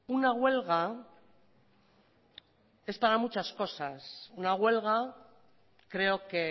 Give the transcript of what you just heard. una huelga es para muchas cosas una huelga creo que